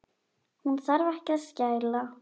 Hún þarf ekki að skæla.